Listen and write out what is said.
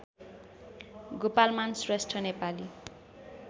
Gopalman Shrestha Nepali